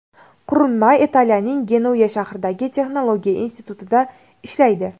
Qurilma Italiyaning Genuya shahridagi texnologiya institutida ishlaydi.